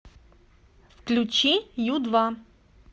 включи ю два